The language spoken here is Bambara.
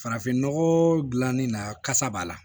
Farafinnɔgɔ dilannen na kasa b'a la